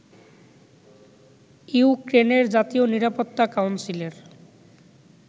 ইউক্রেনের জাতীয় নিরাপত্তা কাউন্সিলের